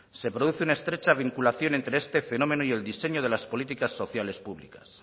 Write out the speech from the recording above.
se produce una estrecha vinculación entre este fenómeno y el diseño de las políticas sociales públicas